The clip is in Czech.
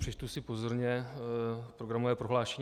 Přečtu si pozorně programové prohlášení.